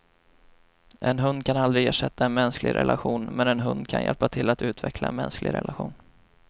En hund kan aldrig ersätta en mänsklig relation, men en hund kan hjälpa till att utveckla en mänsklig relation.